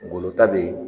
Ngolo ta be yen